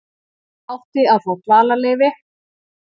Átti að fá dvalarleyfi